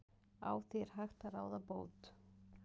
Á því er hægt að ráða bót.